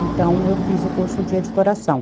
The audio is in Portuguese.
Então, eu fiz o curso de editoração.